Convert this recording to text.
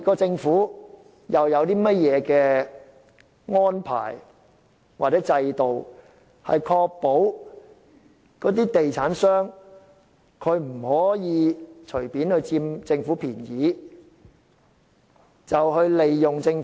政府究竟有何制度或安排，以確保地產商不會佔政府便宜和利用政府？